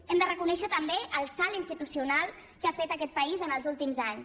hem de reconèixer també el salt institucional que ha fet aquest país els últims anys